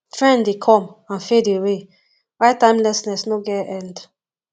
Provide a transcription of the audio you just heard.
trend de come and fade away while timelessness no get end